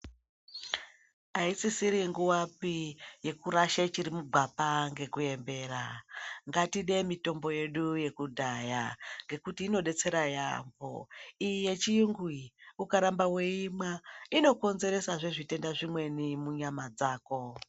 Aisisiri nguvapi yekurashe chiri mugwapa ngekuembera. Ngatide mitombo yedu yekudhaya ngekuti inodetsera yaampho. Iyi yechiyungu iyi ukaramba weiimwa inokonzeresazve zvitenda zvimweni munyama dzako.